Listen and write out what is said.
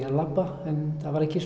að labba en það var ekki